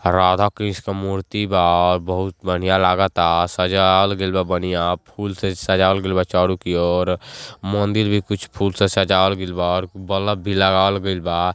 राधाकृष्ण मूर्ति बा। बहुत बढ़िया लागता सजावल गईल बा बढ़िया फूल से सजावल गइल चारो की ओर मंदिर भी फूल से सजावल गइल बा और बलब भी लगावल गइल बा।